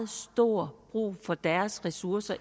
stor brug for deres ressourcer